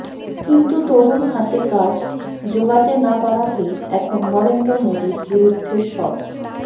কিন্তু তরুণ হাতে কাজ জোগাতে না পারাকেই এখন নরেন্দ্র মোদীর বিরুদ্ধে সব